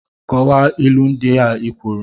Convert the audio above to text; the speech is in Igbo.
Kọwaa ilu ndị i kwuru!